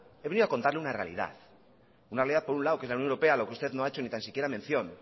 he venido a contarle una realidad una realidad por un lado que es la unión europea lo que usted no ha hecho ni tan siquiera mención